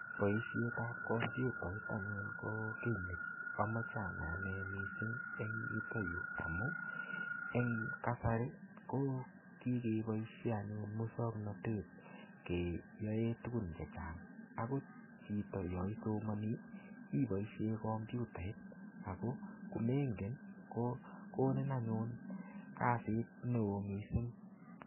Boishetab komputait anyun ko kii ne imoche anai anee missing en yuton yuu amun en kasari ko kikeboishen anyun muswoknotet keyoen tukun chechang akot chito yon isomonii iboishen komputait ako komenegen ko komin anyun kasit neo missing.